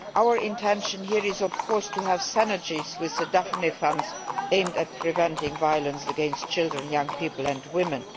Our intention here is of course to have synergies with the Daphne funds aimed at preventing violence against children, young people and women.